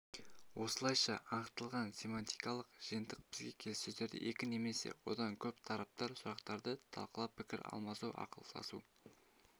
осылайша анықталған семантикалық жиынтық бізге келіссөздерді екі немесе одан көп тараптар сұрақтарды талқылап пікір алмасу ақылдасу